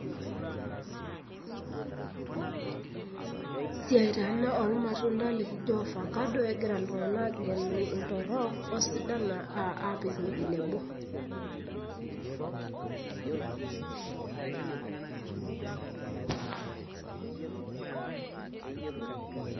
siai taa ena ormatunda lojiofakado, egira iltunganak agelu iltorok osidan apikiwuei nebo